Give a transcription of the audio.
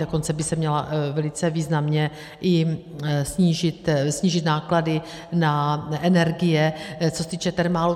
Dokonce by se měly velice významně i snížit náklady na energie, co se týče Thermalu.